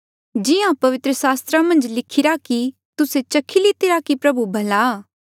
क्यूंकि जिहां पवित्र सास्त्रा मन्झ लिखिरा कि तुस्से चखी लितिरा की प्रभु भला